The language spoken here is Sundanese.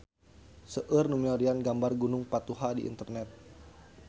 Seueur nu milarian gambar Gunung Patuha di internet